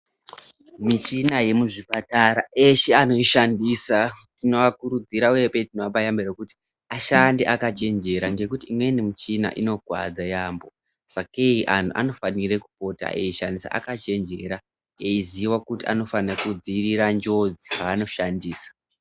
Michina yemuzvipatara eshe anoishandisa tinoakurudzira uye tinoapa yambiro yekuti ashande akachenjera ngekuti imweni michina inokuwadza yaamho sakei antu anofanire kupota eishandisa akachenjera eiziwa kuti anofanhe kudziwirira njodzi paanoshandisa.